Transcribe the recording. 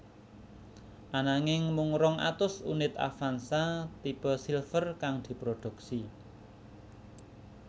Ananging mung rong atus unit Avanza tipe Silver kang diproduksi